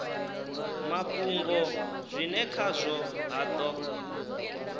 mafhungo zwine khazwo ha do